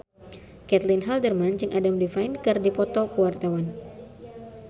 Caitlin Halderman jeung Adam Levine keur dipoto ku wartawan